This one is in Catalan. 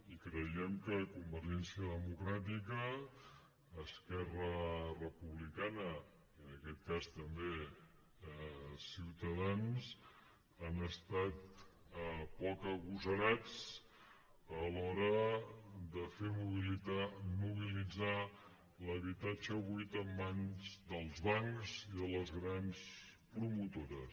i creiem que convergència democràtica esquerra republicana i en aquest cas també ciutadans han estat poc agosarats a l’hora de fer mobilitzar l’habitatge buit en mans dels bancs i de les grans promotores